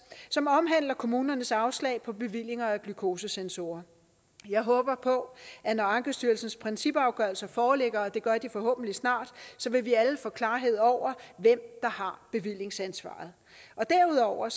som omhandler kommunernes afslag på bevillinger af glykosesensorer jeg håber på at når ankestyrelsens principafgørelser foreligger og det gør de forhåbentlig snart vil vi alle få klarhed over hvem der har bevillingsansvaret derudover